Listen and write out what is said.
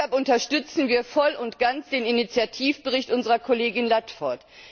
Deshalb unterstützen wir voll und ganz den Initiativbericht unserer Kollegin Ludford.